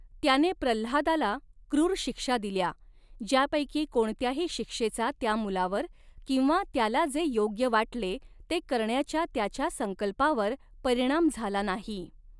त्याने प्रल्हादाला क्रूर शिक्षा दिल्या, ज्यापैकी कोणत्याही शिक्षेचा त्या मुलावर किंवा त्याला जे योग्य वाटले ते करण्याच्या त्याच्या संकल्पावर परिणाम झाला नाही.